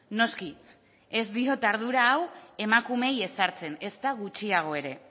noski ez diot ardura hau emakumeei ezartzen ezta gutxiago ere